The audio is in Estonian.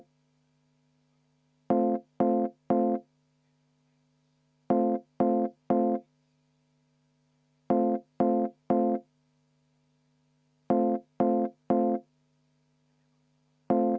Head kolleegid, 10 minutit vaheaega.